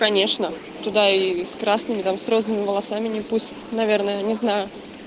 конечно туда и с красными там с розовыми волосами не пустят наверное не знаю